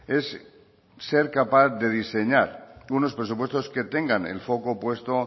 es ser capaz de diseñar unos presupuestos que tengan el foco puesto